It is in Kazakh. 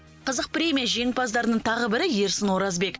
қызық премия жеңімпаздарының тағы бірі ерсін оразбек